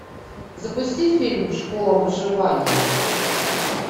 запусти фильм школа выживания